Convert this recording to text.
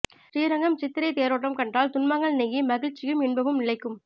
ஸ்ரீரங்கம் சித்திரைத் தேரோட்டம் கண்டால் துன்பங்கள் நீங்கி மகிழ்ச்சியும் இன்பமும் நிலைக்கும்